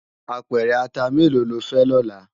Apèrè àtá méló ló fè lòlá?